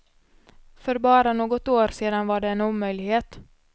För bara något år sedan var det en omöjlighet.